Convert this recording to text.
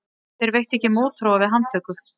Þeir veittu ekki mótþróa við handtöku